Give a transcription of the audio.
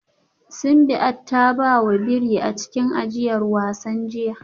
Simbiat ta ba wa biri a cikin ajiyar wasan jiya